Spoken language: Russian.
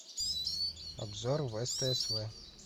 обзор веста св